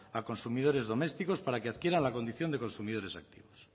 a consumidores domésticos para que adquieran la condición de consumidores activos